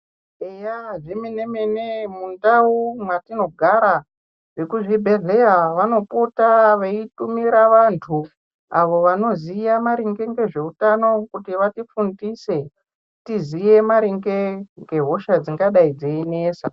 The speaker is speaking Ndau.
Eya zvemene-mene mundau mwetinogara vekuzvibhedhleya vanopota veitumira vantu avo vanoziya maringe ngezveutano kuti vatifundise. Kuti tiziye maringe ngehosha dzingadai dzeinesa.